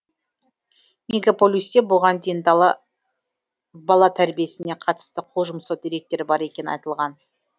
мегаполисте бұған дейін де бала тәрбиесіне қатысты қол жұмсау деректері бар екені айтылған